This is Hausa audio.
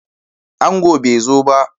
Angon bai zo ba